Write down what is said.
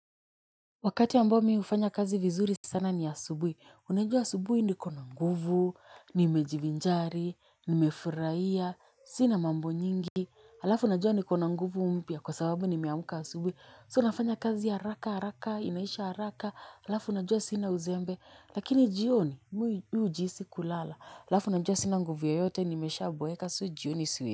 Wakati ambao mi hufanya kazi vizuri sana ni asubuhi. Unajua asubuhi niko na nguvu, nimejivinjari, nimefurahia, sina mambo nyingi, alafu unajua niko na nguvu mpya kwa sababu nimeamka asubuhi, so nafanya kazi haraka haraka, inaisha haraka, alafu unajua sina uzembe, lakini jioni, mi hujisi kulala, alafu unajua sina nguvu yoyote, nimeshaboeka, so jioni.